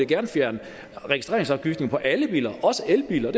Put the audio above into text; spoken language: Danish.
gerne fjerne registreringsafgiften på alle biler også elbiler og